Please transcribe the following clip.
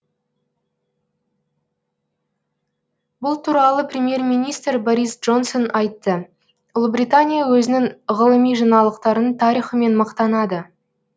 бұл туралы премьер министр борис джонсон айтты ұлыбритания өзінің ғылыми жаңалықтарының тарихымен мақтанады